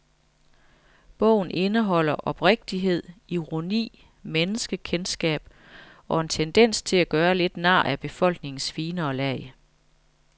Bogen indeholder oprigtighed, ironi, menneskekendskab og en tendens til at gøre lidt nar af befolkningens finere lag.